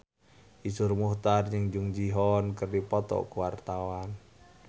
Iszur Muchtar jeung Jung Ji Hoon keur dipoto ku wartawan